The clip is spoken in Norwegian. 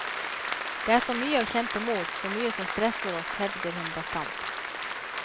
Det er så mye å kjempe mot, så mye som stresser oss, hevder hun bastant.